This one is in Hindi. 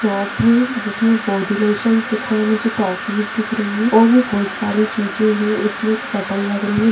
शॉप है जिसमे बॉडी लोशन्स दिख रहे है मुझे टॉफिस दिख रही हैं और भी बहोत सारी चीजे हैं इसमे एक सटल लग रही है।